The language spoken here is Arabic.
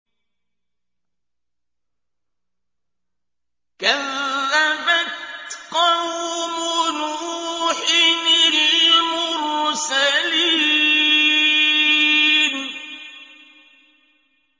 كَذَّبَتْ قَوْمُ نُوحٍ الْمُرْسَلِينَ